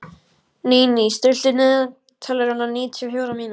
Níní, stilltu niðurteljara á níutíu og fjórar mínútur.